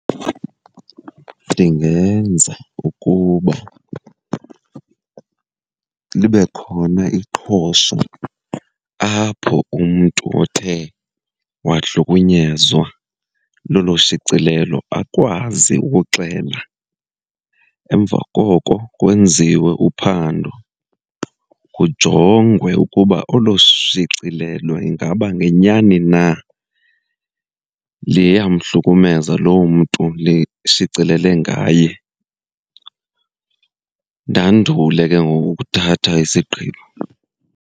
Ndingenza ukuba libe khona iqhosha apho umntu othe wahlukunyezwa lolo shicilelo akwazi ukuxela. Emva koko kwenziwe uphando, kujongwe ukuba olo shicilelo ingaba ngenyani na liyamhlukumeza loo mntu lishicilele ngaye. Ndandule ke ngoku ukuthatha isigqibo.